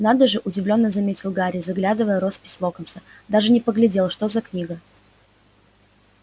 надо же удивлённо заметил гарри заглядывая в роспись локонса даже не поглядел что за книга